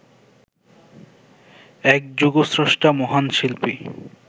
এক যুগস্রষ্টা মহান শিল্পী